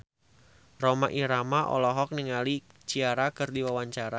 Rhoma Irama olohok ningali Ciara keur diwawancara